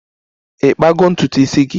Ị kpago ntutu isi gị?